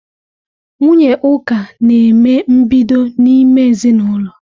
Nwunye Uka na-eme mbido n'ime ezinaụlọ.